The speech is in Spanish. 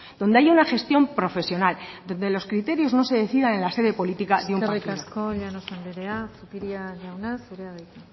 donde haya una gestión profesional donde los criterios no se decidan en la sede política de un partido eskerrik asko llanos anderea zupiria jauna zurea da hitza